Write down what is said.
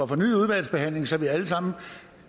fornyet udvalgsbehandling så vi alle sammen